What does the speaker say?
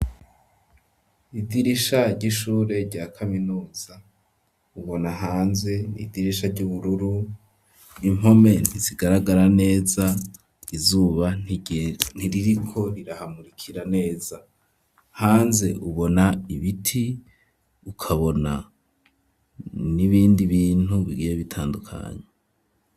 Idirisha ry'ishure rya kaminuza ubona hanze n'idirisha ry'ubururu impome ntizigaragara neza izuba ntiririko rirahamurikira neza hanze ubona ibiti ukabona n'ibindi bintu bigiye bitandukanye.